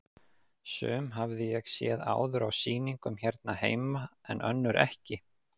Sum hafði ég séð áður á sýningum hérna heima en önnur ekki.